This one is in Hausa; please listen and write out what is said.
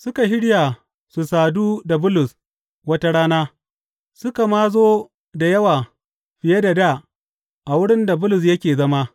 Suka shirya su sadu da Bulus wata rana, suka ma zo da yawa fiye da dā a wurin da Bulus yake zama.